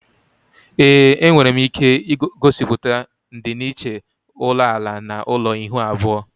Ee, enwere m ike gosiputa ndịiche ulo ala na ulo ihuu abuo